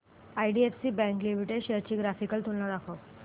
IDFC bank limited shares ची graphical तुलना दाखव